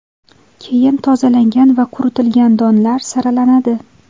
Keyin tozalangan va quritilgan donlar saralanadi.